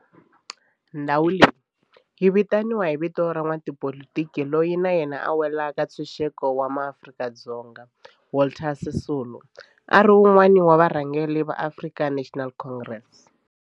Ndhawo leyi yi vitaniwa hi vito ra n'watipolitiki loyi na yena a lwela ntshuxeko wa maAfrika-Dzonga Walter Sisulu, a ri wun'wana wa varhangeri va African National Congress.